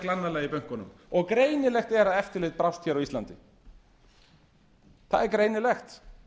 glannalega í bönkunum og greinilegt er að eftirlit brást á íslandi það er greinilegt